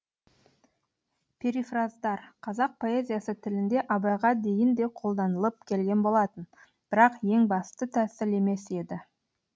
перифраздар қазақ поэзиясы тілінде абайға дейін де қолданылып келген болатын бірақ ең басты тәсіл емес еді